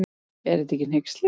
Er þetta ekki hneyksli.